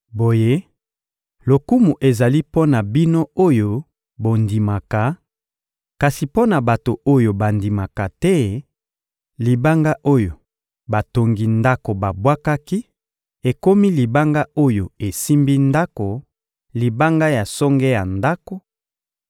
Boye lokumu ezali mpo na bino oyo bondimaka; kasi mpo na bato oyo bandimaka te, «libanga oyo batongi ndako babwakaki ekomi libanga oyo esimbi ndako, libanga ya songe ya ndako,